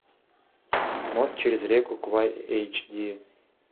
мост через реку квай эйч ди